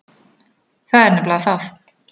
Það er nefnilega það!